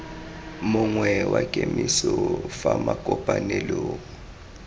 mongwe wa kemiso fa makopanelong